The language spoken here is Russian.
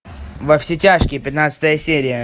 во все тяжкие пятнадцатая серия